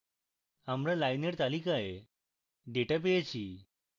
আমরা lines তালিকায় data পেয়েছি